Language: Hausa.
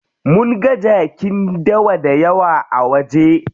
Munga jakin dawa dayawa a waje.